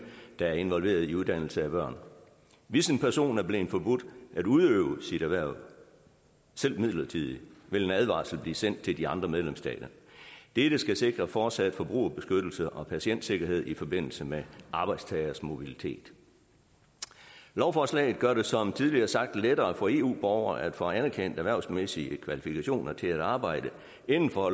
der er involveret i uddannelse af børn hvis en person er blevet forbudt at udøve sit erhverv selv midlertidigt vil en advarsel blive sendt til de andre medlemsstater dette skal sikre fortsat forbrugerbeskyttelse og patientsikkerhed i forbindelse med arbejdstageres mobilitet lovforslaget gør det som tidligere sagt lettere for eu borgere at få anerkendt erhvervsmæssige kvalifikationer til at arbejde inden for